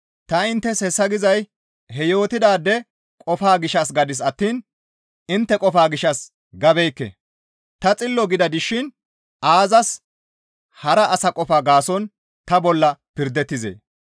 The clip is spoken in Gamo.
Ta inttes hessa gizay he yootidaade qofaa gishshas gadis attiin intte qofaa gishshas gabeekke; ta xillo gida dishin aazas hara asa qofaa gaason ta bolla pirdettizee?